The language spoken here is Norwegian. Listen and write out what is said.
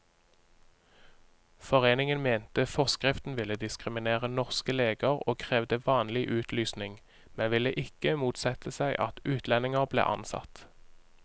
Foreningen mente forskriften ville diskriminere norske leger og krevde vanlig utlysning, men ville ikke motsette seg at utlendinger ble ansatt.